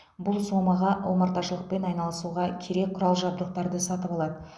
бұл сомаға омарташылықпен айналысуға керек құрал жабыдқтарды сатып алады